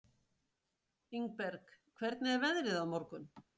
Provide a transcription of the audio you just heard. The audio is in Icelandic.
Ingberg, hvernig er veðrið á morgun?